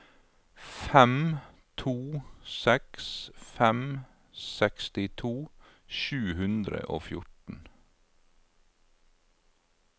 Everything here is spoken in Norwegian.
fem to seks fem sekstito sju hundre og fjorten